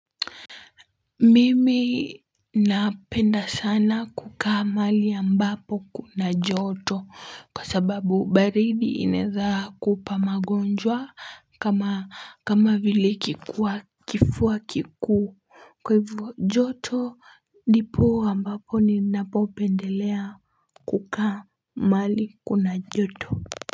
Mimi napenda sana kukaa mahali ambapo kuna joto kwa sababu baridi inaeza kupa magonjwa kama kama vile kifua kikuu kwa hivo joto ndipo ambapo ninapopendelea kukaa mahali kuna joto.